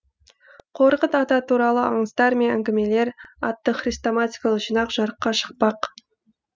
қорқыт ата туралы аңыздар мен әңгімелер атты хрестоматикалық жинақ жарыққа шықпақ